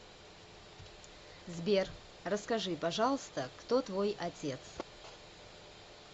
сбер расскажи пожалуйста кто твой отец